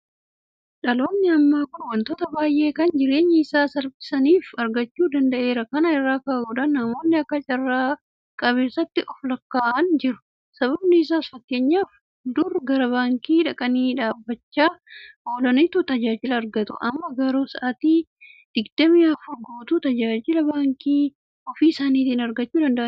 Dhaloonni ammaa kun waantota baay'ee kan jireenya isaa salphisaniif argachuu danda'eera. Kana irraa ka'uudhaan namoonni akka carra qabeessaatti oflakkaa'an jiru. Sababni isaas fakkeenyaaf dur gara baankii dhaqanii dhaabbachaa oolaniitu tajaajila argatu. Amma garuu sa'aatii Digdami Afur guutuu tajaajila baankii ofii isaaniitii argachuu danda'aniiru.